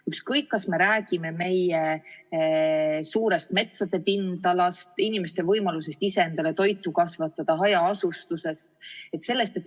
Ükskõik, kas me räägime meie suurest metsade pindalast, inimeste võimalusest ise endale toitu kasvatada või hajaasustusest.